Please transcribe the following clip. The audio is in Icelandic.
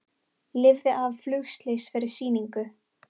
Lifði af flugslys fyrir sýningu